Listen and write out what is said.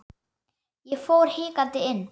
Ég fór hikandi inn.